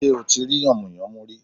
Sé ò tí rí yànmùyánmú rí